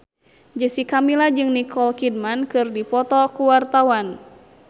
Jessica Milla jeung Nicole Kidman keur dipoto ku wartawan